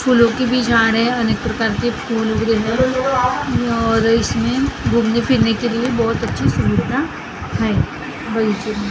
फूलों के भी झाड हैं अनिक प्रकार के फूलों के लिए और इसमें घूमने-फिरने के लिए बहुत अच्छी सुविधाएँ हैं --